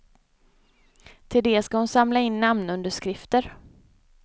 Till det ska hon samla in namnunderskrifter.